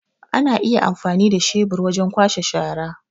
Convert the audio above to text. Ana iya amfani da shebur wajen kwashe shara.